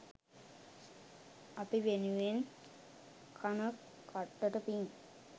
අපි වෙනුවෙන් කන කට්ටට පිං.